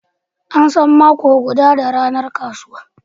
An san mako guda da ranar kasuwa.